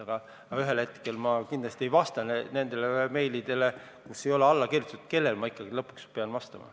Aga ühel hetkel ma kindlasti ei vasta meilidele, kus ei ole alla kirjutatud, kellele ma ikkagi lõpuks pean vastama.